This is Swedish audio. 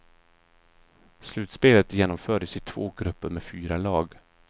Slutspelet genomfördes i två grupper med fyra lag.